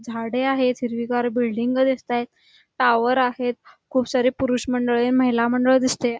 झाडे आहेत हिरविगार बिल्डिंग दिसत आहे टॉवर आहेत खूप सारे पुरुष मंडळी महिला मंडळ दिसते.